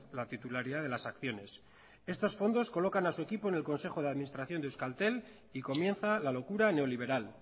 la titularidad de las acciones estos fondos colocan a su equipo en el consejo de administración de euskaltel y comienza la locura neoliberal